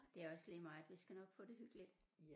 Det er også lige meget vi skal nok få det hyggeligt